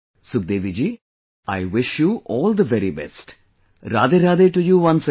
Sukhdevi ji, I wish you all the very best, RadheRadhe to you once again